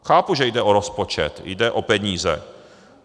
Chápu, že jde o rozpočet, jde o peníze.